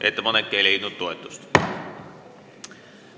Ettepanek ei leidnud toetust.